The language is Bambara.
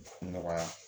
Nɔgɔya